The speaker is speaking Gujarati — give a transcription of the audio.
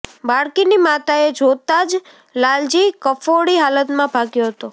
બાળકીની માતાએ જોતા જ લાલજી કફોડી હાલતમાં ભાગ્યો હતો